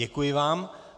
Děkuji vám.